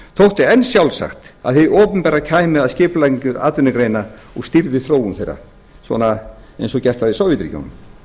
þótti enn sjálfsagt að hið opinbera kæmi að skipulagningu atvinnugreina og stýrði þróun þeirra svona eins og gert var í sovétríkjunum